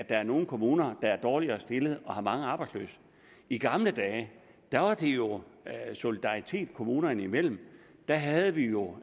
er nogle kommuner der er dårligere stillet og har mange arbejdsløse i gamle dage var der jo solidaritet kommunerne imellem der havde vi jo